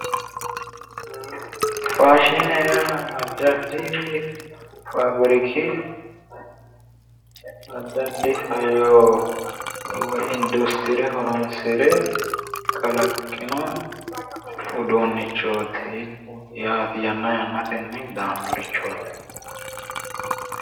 Faashine yinnanire addi addi faabbirikki addi addi hayyo woyi industrie horonsire kalaqqinno uduunichoti yaate, yanna yannatenni daanorichoti